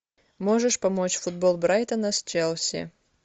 можешь помочь футбол брайтона с челси